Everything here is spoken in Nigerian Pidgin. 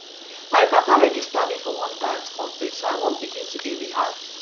my papa register me for one dance contest so i wan begin to dey rehearse